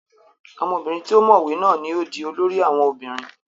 ọmọbìnrin tí ó mọ̀wé náà ni ó di olórí àwọn obìnrin